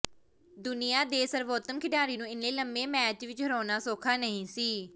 ਦੁਨੀਆਂ ਦੇ ਸਰਵੋਤਮ ਖਿਡਾਰੀ ਨੂੰ ਇੰਨੇ ਲੰਮੇ ਮੈਚ ਵਿੱਚ ਹਰਾਉਣਾ ਸੌਖਾ ਨਹੀਂ ਸੀ